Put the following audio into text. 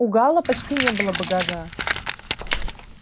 у гаала почти не было багажа